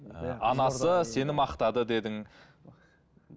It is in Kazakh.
анасы сені мақтады дедің